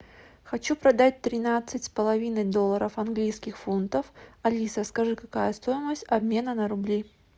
хочу продать тринадцать с половиной долларов английских фунтов алиса скажи какая стоимость обмена на рубли